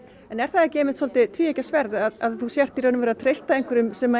en er það ekki svolítið tvíeggjað sverð að þú ert í rauninni bara að treysta einhverjum sem